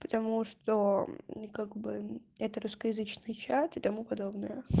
потому что как бы это русскоязычный чат и тому подобное